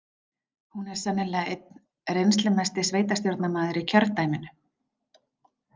Hún er sennilega einn reynslumesti sveitarstjórnarmaður í kjördæminu.